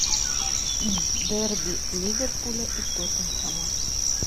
дерби ливерпуля и тоттенхэма